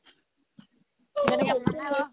‌